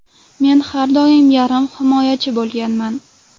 Men har doim yarim himoyachi bo‘lganman.